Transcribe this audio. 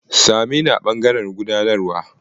Sa me ni a ɓangaren gudanarwa.